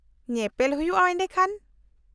-ᱧᱮᱯᱮᱞ ᱦᱩᱭᱩᱜᱼᱟ ᱮᱰᱮᱠᱷᱟᱱ ᱾